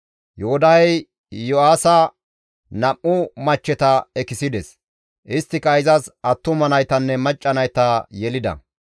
Yoodahey Iyo7aasa nam7u machcheta ekisides; isttika izas attuma naytanne macca nayta yelida.